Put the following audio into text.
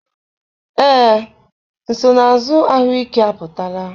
Ee, nsonaazụ ahụike apụtala.